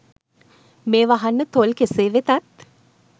මේවා අහන්න තොල් කෙසේ වෙතත්